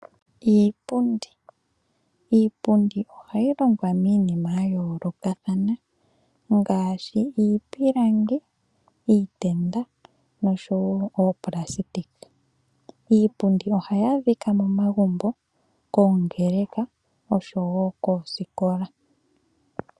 Iipundi Iipundi ohayi longwa miinima ya yoolokathana ngaashi iipilangi, iitenda oshowo oopulasitika. Iipundi ohayi adhika momagumbo, koongeleka oshowo koosikola.